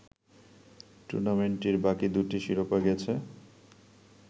টুর্নামেন্টটির বাকি দুটি শিরোপা গেছে